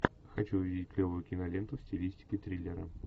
хочу увидеть клевую киноленту в стилистике триллера